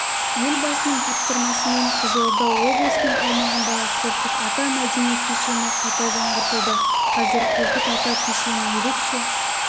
елбасының тапсырмасымен қызылорда облысының аумағындағы қорқыт ата мәдени кешені қайта жаңғыртылды қазір қорқыт ата кешенін ерекше